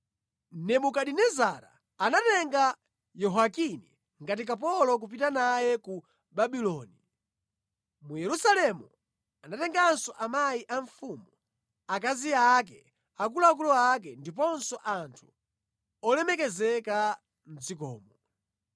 Nebukadinezara anatenga Yehoyakini ngati kapolo kupita naye ku Babuloni. Mu Yerusalemu anatenganso amayi a mfumu, akazi ake, akuluakulu ake ndiponso anthu olemekezeka mʼdzikomo.